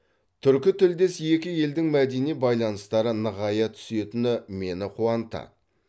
түркі тілдес екі елдің мәдени байланыстары нығая түсетіні мені қуантады